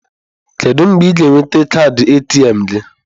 Kedu mgbe ị ga-enweta kaadị ATM gị?